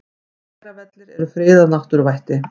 Hveravellir eru friðað náttúruvætti.